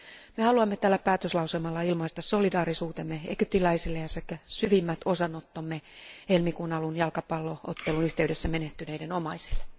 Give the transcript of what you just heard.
Me haluamme tällä päätöslauselmalla ilmaista solidaarisuutemme egyptiläisille sekä syvimmät osanottomme helmikuun alun jalkapallo ottelun yhteydessä menehtyneiden omaisille.